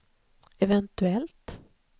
eventuellt